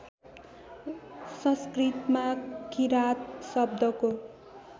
संस्कृतमा किराँत शब्दको